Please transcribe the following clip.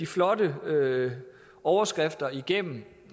flotte overskrifter igennem